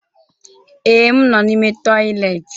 Ee, m nọ n'ime toịletị.